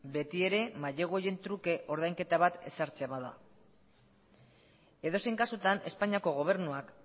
beti ere mailegu horien truke ordainketa bat ezartzen bada edozein kasutan espainiako gobernuak